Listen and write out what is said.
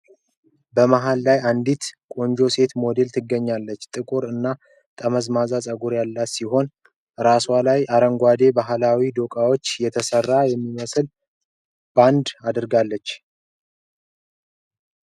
በመሃል ላይ አንዲት ቆንጆ ሴት ሞዴል ትገኛለች። ጥቁር እና ጠመዝማዛ ፀጉር ያላት ሲሆን፣ ራሷ ላይ አረንጓዴ ከባህላዊ ዶቃዎች የተሰራ የሚመስል ባንድ አድርጋለች።